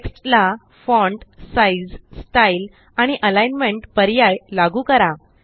text ला font size style आणि alignment पर्याय लागू करा